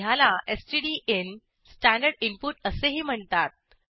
ह्याला standard input असेही म्हणतात